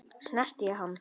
Snerti ég hann?